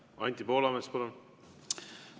Anti Poolamets, palun!